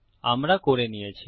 আমরা করে নিয়েছি